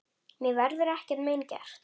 Mér verður ekkert mein gert.